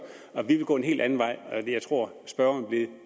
vi vil gå en helt anden vej og jeg tror spørgeren vil